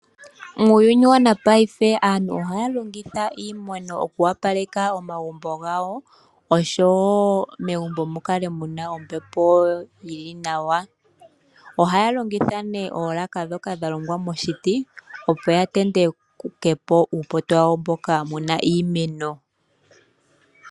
Muuyuni wa napaife aantu ohaya longitha iimeno okuwapaleka omagumbo gawo, oshowo megumbo mu kale muna ombepo yili nawa. Ohaya longitha nee oolaka dhoka dha longwa moshiti, opo ya tentekepo uupoto wawo mboka muna iimeno.